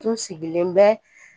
Tun sigilen bɛ